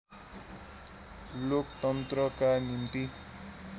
लोकतन्त्रका निम्ति